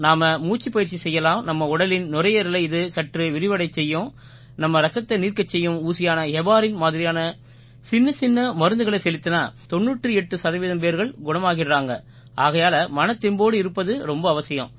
நாம மூச்சுப்பயிற்சி செய்யலாம் நம்ம உடலின் நுரையீரலை இது சற்று விரிவடையச் செய்யும் நம்ம ரத்தத்தை நீர்க்கச் செய்யும் ஊசியான ஹெபாரின் மாதிரியான சின்னச்சின்ன மருந்துகளை செலுத்தினா 98 சதவீதம் பேர்கள் குணமாகிடுறாங்க ஆகையால மனத்தெம்போடு இருப்பது ரொம்ப அவசியம்